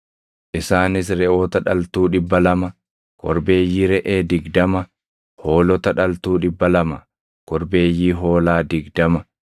isaanis reʼoota dhaltuu dhibba lama, korbeeyyii reʼee digdama, hoolota dhaltuu dhibba lama, korbeeyyii hoolaa digdama,